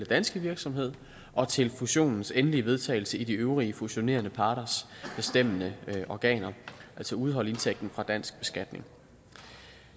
danske virksomhed og til fusionens endelige vedtagelse i de øvrige fusionerende parters bestemmende organer altså udeholde indtægten fra dansk beskatning